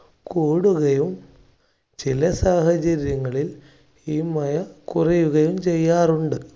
കൂടുകയും ചില സാഹചര്യങ്ങളിൽ ഈ മയ കുറയുകയും ചെയ്യാറുണ്ട്.